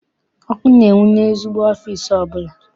Ọkụ na-enwu n'ezigbo ọfịịsi ọbụla.